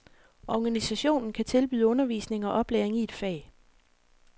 Organisationen kan tilbyde undervisning og oplæring i et fag.